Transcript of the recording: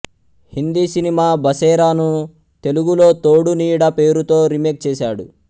Hindi cinema Basera ను తెలుగులో తోడు నీడ పేరుతో రీమేక్ చేసాడు